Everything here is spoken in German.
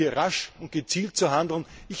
Es heißt, hier rasch und gezielt zu handeln.